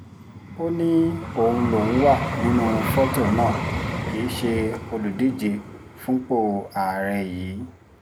ó ní òun lòún wà nínú fọ́tò náà kì í ṣe olùdíje fúnpọ̀ àárẹ̀ yìí